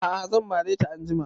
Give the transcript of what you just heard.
A'a zan mare ta anjima